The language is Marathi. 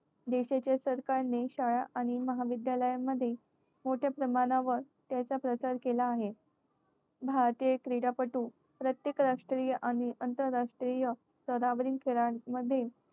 देशाचे सरकारने शाळा आणि महाविद्यालयामध्ये मोठ्या प्रमाणावर त्याचा प्रसार केला आहे. भारतीय क्रीडापटू प्रत्येक राष्ट्रीय आणि आंतरराष्ट्रीय स्तरावरील खेळांमध्ये